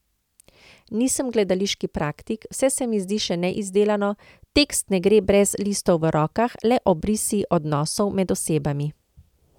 Nisem gledališki praktik, vse se mi zdi še neizdelano, tekst ne gre brez listov v rokah, le obrisi odnosov med osebami.